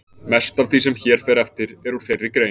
Mest af því sem hér fer eftir er úr þeirri grein.